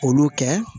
Olu kɛ